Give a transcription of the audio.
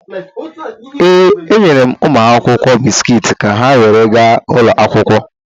Ee, enyere m ụmụaka bisikiiti ka ha were gaa ụlọ akwụkwọ.